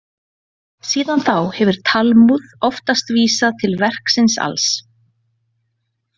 Síðan þá hefur Talmúð oftast vísað til verksins alls.